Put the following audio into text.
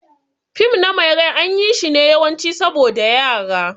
Fim na mai rai an yi shi ne yawanci saboda Yara.